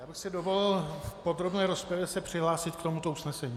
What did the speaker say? Já bych si dovolil v podrobné rozpravě se přihlásit k tomuto usnesení.